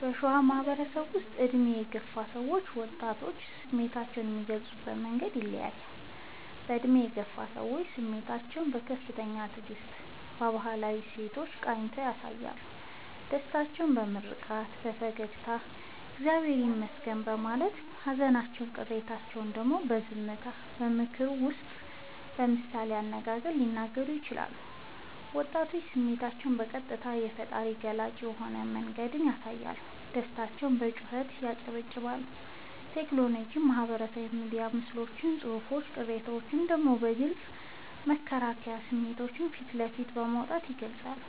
በሸዋ ማህበረሰባችን ውስጥ በዕድሜ የገፉ ሰዎችና ወጣቶች ስሜታቸውን የሚገልጹበት መንገድ ይለያያል፦ በዕድሜ የገፉ ሰዎች፦ ስሜታቸውን በከፍተኛ ትዕግስትና በባህላዊ እሴቶች ቃኝተው ያሳያሉ። ደስታቸውን በምርቃት፣ በፈገግታና «እግዚአብሔር ይመስገን» በማለት: ሃዘንና ቅሬታቸውን ደግሞ በዝምታ: በምክር ወይም በምሳሌ አነጋገር ሊነግሩን ይችላሉ። ወጣቶች፦ ስሜታቸውን በቀጥታ: በፈጣንና ገላጭ በሆነ መንገድ ያሳያሉ። ደስታቸውን በጩኸት: በጭብጨባ: በቴክኖሎጂ (በማህበራዊ ሚዲያ ምስሎችና ጽሑፎች): ቅሬታቸውን ደግሞ በግልጽ በመከራከርና ስሜታቸውን ፊት ለፊት በማውጣት ይገልጻሉ።